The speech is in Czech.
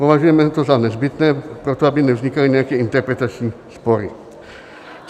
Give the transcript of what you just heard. Považujeme toto za nezbytné proto, aby nevznikaly nějaké interpretační spory.